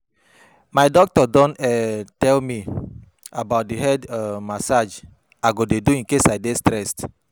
My doctor don um tell me about the head um massage I go dey do in case I dey stressed